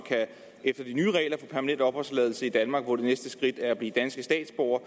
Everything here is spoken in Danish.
efter de nye regler kan opholdstilladelse i danmark hvor det næste skridt jo er at blive danske statsborger